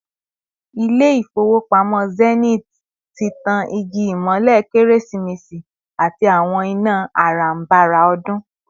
Ilé-ifowopamo Zenith tí tán igi imole keresi-mesi àti àwọn iná aranbára odun